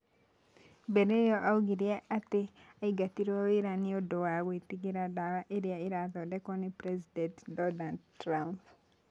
Mbere ĩyo oigire atĩ aingatirwo wĩra nĩ ũndũ wa gwĩtigĩra ndawa iria irathondekwo nĩ President Donald Trump.